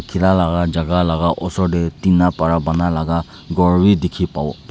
tina laga jagah laga osor dey tina para banai laga ghor wi dikhi pawo.